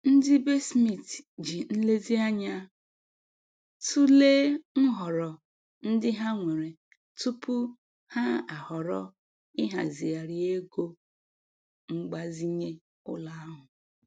Ndị be Smith ji nlezianya tụlee nhọrọ ndị ha nwere tupu ha ahọrọ ịhazigharị ego mgbazinye ụlọ ha.